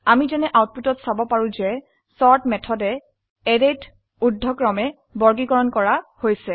আমি যেনে আউটপুটত চাব পাৰো যে চৰ্ট মেথডে অ্যাৰেতে ঊৰ্ধ্বক্ৰমে বৰ্গীকৰণ কৰা হৈছে